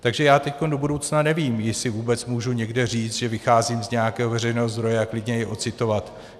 Takže já teď do budoucna nevím, jestli vůbec můžu někde říct, že vycházím z nějakého veřejného zdroje a klidně i ocitovat.